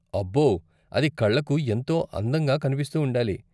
అబ్బో! అది కళ్ళకు ఎంతో అందంగా కనిపిస్తూ ఉండాలి.